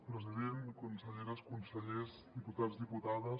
president conselleres consellers diputats diputades